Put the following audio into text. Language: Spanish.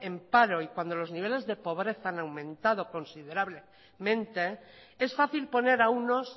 en paro y cuando los niveles de pobreza han aumentado considerablemente es fácil poner a unos